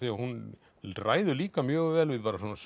að hún ræður líka mjög vel við